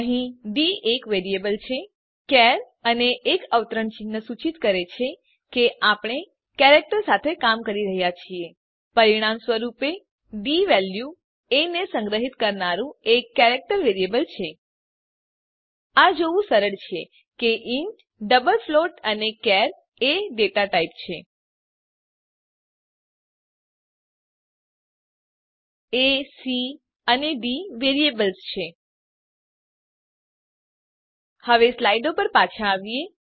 અહીં ડી એક વેરિએબલ છે ચાર અને એક અવતરણ ચિહ્ન સૂચિત કરે છે કે આપણે કેરેક્ટર સાથે કામ કરી રહ્યા છીએ પરીણામ સ્વરૂપે ડી વેલ્યુ એ ને સંગ્રહીત કરનારું એક કેરેક્ટર વેરિએબલ છે આ જોવું સરળ છે કે ઇન્ટ ડબલ ફ્લોટ અને ચાર એ ડેટા ટાઇપ છે એ સી અને ડી વેરિએબલ્સ છે હવે સ્લાઈડો પર પાછા આવીએ